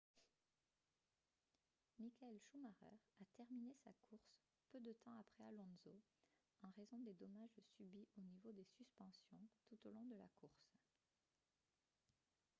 michael schumacher a terminé sa course peu de temps après alonso en raison des dommages subis au niveau des suspensions tout au long de la course